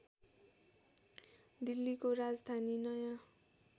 दिल्लीको राजधानी नयाँ